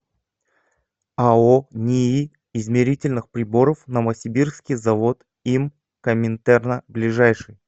ао нии измерительных приборов новосибирский завод им коминтерна ближайший